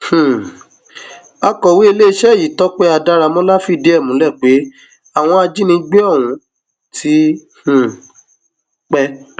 um akọwé iléeṣẹ yìí tọpẹ adáramọlá fìdí ẹ múlẹ pé àwọn ajínigbé ọhún ti um pẹ